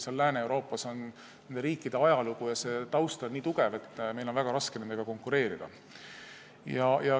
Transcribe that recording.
Lääne-Euroopas on riikide ajalugu nii pikk ja taust nii tugev, et meil on väga raske nendega konkureerida.